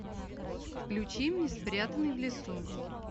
включи мне спрятанный в лесу